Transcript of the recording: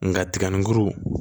Nka tigɛninkuru